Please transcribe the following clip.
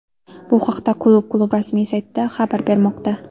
Bu haqda klub klub rasmiy saytida xabar bermoqda .